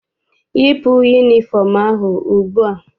Yipu yunifọm ahụ ugbua!